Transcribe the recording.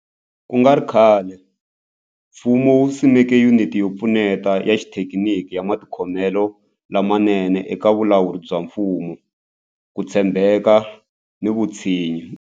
Ku nga ri khale, mfumo wu simeke Yuniti yo Pfuneta ya Xithekiniki ya Matikhomelo lamanene eka Vulawuri bya Mfumo, Ku tshembeka na Vutshinyi.